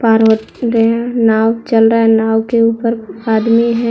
और वो दया नाव चल रहा है नाव के ऊपर आदमी है।